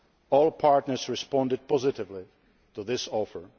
help. All partners responded positively to that offer.